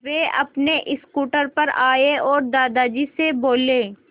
वे अपने स्कूटर पर आए और दादाजी से बोले